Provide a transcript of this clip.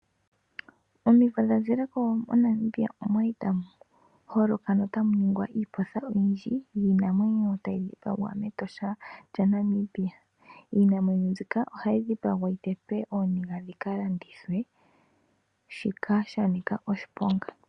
Omimvo dhazileko moNamibia okwali tamu holoka no tamuningwa iipotha oyindji yiinamwenyo tayi dhipagwa mEtosha lya Namibia. Iinamwenyo mbika ohayi dhipagwa yi tetwe ooniga dhikalandithwe shoka shili sha nika oshiponga.